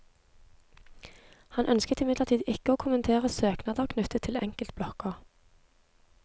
Han ønsker imidlertid ikke å kommentere søknader knyttet til enkeltblokker.